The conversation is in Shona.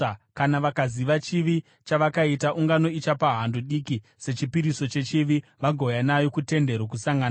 Kana vakaziva chivi chavakaita, ungano ichapa hando diki sechipiriso chechivi vagouya nayo kuTende Rokusangana.